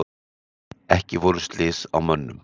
Ekki voru slys á mönnum.